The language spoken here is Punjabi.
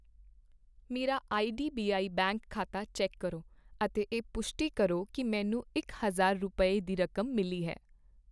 ਮੇਰਾ ਆਈਡੀਬੀਆਈ ਬੈਂਕ ਖਾਤਾ ਚੈੱਕ ਕਰੋ ਅਤੇ ਇਹ ਪੁਸ਼ਟੀ ਕਰੋ ਕੀ ਮੈਨੂੰ ਇਕ ਹਜ਼ਾਰ ਰੁਪਏ, ਦੀ ਰਕਮ ਮਿਲੀ ਹੈ